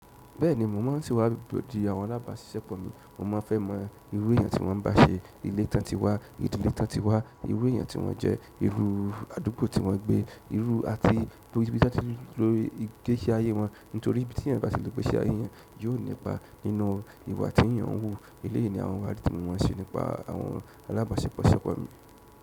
Bẹ́ẹ̀ni, mo ma ǹ ṣewàdii àwọn alábàáṣiṣẹ́pọ̀ mi. Mo máa ń fẹ́ mọ irú èèyàn tí wọ́n ba ṣe, ilé ton ti wá, ìdílé ton ti wá, irú èèyàn tí wọ́n jẹ́, irú àdúgbò tí wọ́n gbé, irú àti lórí ibi tí wọ́n ti lórí ìgbésí ayé wọn. Nítorí ibi ti eeyan ba ti lo ìgbésí aye eeyan yóò nípa nínú ìwà ti eeyan n wu. Eleyii ni àwọn ìwádìí ti mo maa ń ṣe nípa àwọn alábàáṣepọ̀ ṣẹ́pọ̀ mi.